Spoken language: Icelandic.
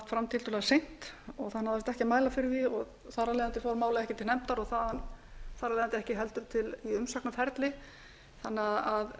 tiltölulega seint og það náðist ekki að mæla fyrir því þar af leiðandi fór málið ekki til nefndar og þar af leiðandi heldur ekki í umsagnarferli þannig að